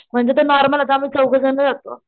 म्हणजे ते नॉर्मल आता आम्ही चौघ जण राहतो,